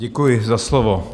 Děkuji za slovo.